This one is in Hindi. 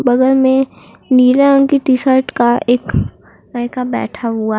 बगल में नीले रंग की टी शर्ट का एक लड़का बैठा हुआ है।